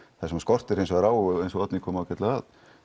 það sem skortir hins vegar á eins og Oddný kom ágætlega að